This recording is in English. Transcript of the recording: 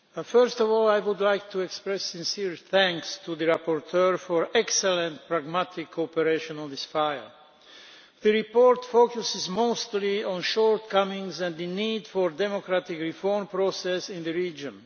First of all, I would like to express sincere thanks to the rapporteur for excellent pragmatic cooperation on this file. The report focuses mostly on shortcomings and the need for a democratic reform process in the region.